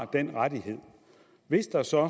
den rettighed hvis der så og